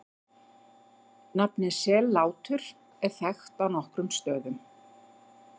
Nafnið Sellátur er þekkt á nokkrum stöðum.